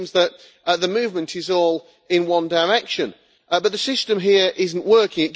It seems that the movement is all in one direction, but the system here is not working.